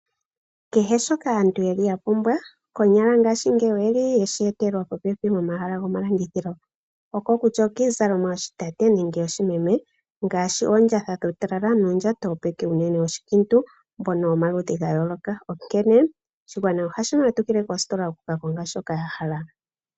Kehe shoka aantu ya pumbwa, konyala oye shi etelwa popepi nomahala gomalandithilo, kutya nee okiizalalomwa yoshitate nenge yoshimeme, ngaashi oondjatha dhuutalala nuundjato wopeke, unene woshikiintu mbono womaludhi ga yooloka. Oshigwana ohashi matukile koositola ya ka kenge shoka ya hala.